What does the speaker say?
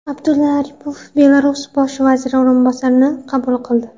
Abdulla Aripov Belarus bosh vaziri o‘rinbosarini qabul qildi.